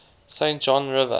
saint john river